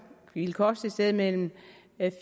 ville koste et sted mellem